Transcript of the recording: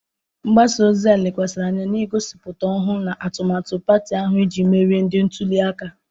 Mgbasa ozi a lekwasịrị anya n'igosipụta ọhụụ na atumatu pati ahụ iji merie ndị ntuli aka.